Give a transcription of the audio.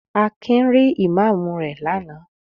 Akin rí Ìmámù rẹ̀ lánàá.